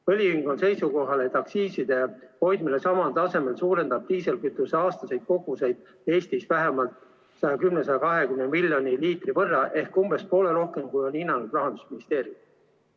Õliühing on seisukohal, et aktsiiside hoidmine samal tasemel suurendab diislikütuse aastaseid koguseid Eestis vähemalt 110–120 miljoni liitri võrra ehk kaks korda rohkem, kui on hinnanud Rahandusministeerium.